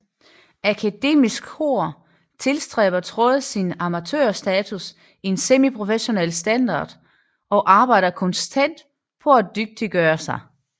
Akademisk Kor tilstræber trods sin amatørstatus en semiprofessionel standard og arbejder konstant på at dygtiggøre sig